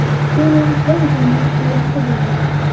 Keling va o‘zingiz guvohi bo‘ling.